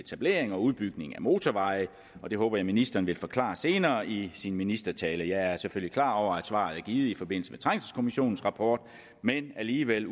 etablering og udbygning af motorveje det håber jeg ministeren vil forklare senere i sin ministertale jeg er selvfølgelig klar over at svaret er givet i forbindelse med trængselskommissionens rapport men alligevel